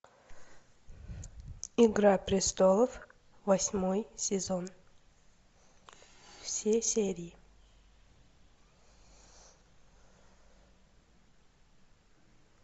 игра престолов восьмой сезон все серии